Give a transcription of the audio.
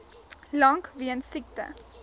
lank weens siekte